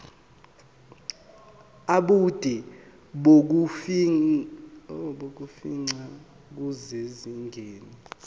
ubude bokufingqa kusezingeni